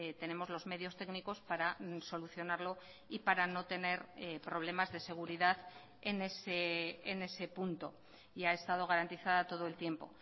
tenemos los medios técnicos para solucionarlo y para no tener problemas de seguridad en ese punto y ha estado garantizada todo el tiempo